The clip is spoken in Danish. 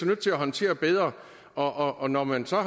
nødt til at håndtere bedre og og når man så